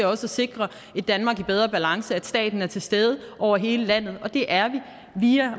også at sikre et danmark i bedre balance altså at staten er til stede over hele landet og det er vi